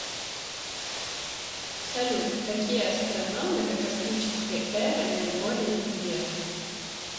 салют какие астрономы докосмической эры наиболее известны